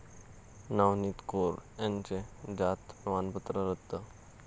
नवनीत कौर यांचं जात प्रमाणपत्र रद्द